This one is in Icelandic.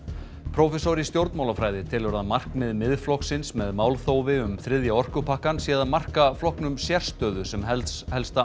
prófessor í stjórnmálafræði telur að markmið Miðflokksins með málþófi um þriðja orkupakkann sé að marka flokknum sérstöðu sem helsta helsta